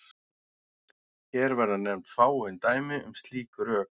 Hér verða nefnd fáein dæmi um slík rök.